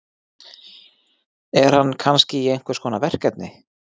Er hann kannski í einhverskonar verkefni?